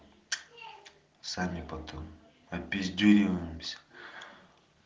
сами потом опиздюриваемся